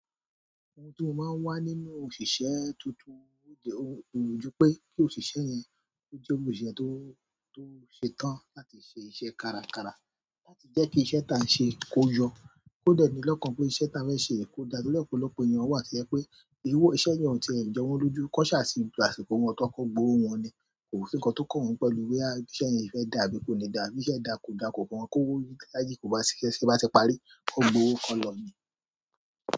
Ohun tó máa ń wà nínú òṣìṣẹ́ tuntun ó ju pé kí òṣìṣẹ́ yẹn ó jẹ́ òṣìṣẹ́ tó, tó ṣetán láti ṣe iṣẹ́ kárakára láti jẹ́ kí iṣẹ́ tí à ń ṣe kó yọ. Kó dẹ̀ ní lọ́kàn pé iṣẹ́ tí a fẹ́ ṣe kò da nítorí ọ̀pọ̀lọpọ̀ ènìyàn wà to jẹ pé iṣẹ́ yẹn ò ti ẹ̀ jọ wọ́n lójú. Kọ́ ṣà sí bí àṣìkò wọn tó kọ́ gbówo wọn ni, kò sí nkan tó kàn wọ́n pẹ̀lú boya iṣẹ́ yẹn fẹ́ dà bí kò ní dà, bí iṣẹ́ dà kò dà kò kọn wọn, kó wó yí láyìí kò bá ṣiṣẹ́ ṣé bá ṣe parí, kò gbowó kan lọ ní.